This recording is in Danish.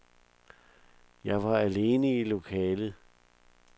Jeg var alene i lokalet.